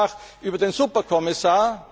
Wir denken nach über den Superkommissar.